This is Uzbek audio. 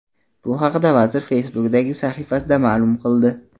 Bu haqda vazir Facebook’dagi sahifasida ma’lum qildi .